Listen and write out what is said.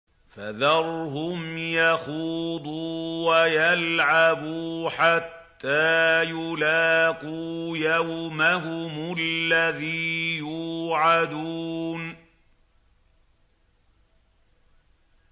فَذَرْهُمْ يَخُوضُوا وَيَلْعَبُوا حَتَّىٰ يُلَاقُوا يَوْمَهُمُ الَّذِي يُوعَدُونَ